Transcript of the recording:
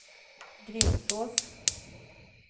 Grimsås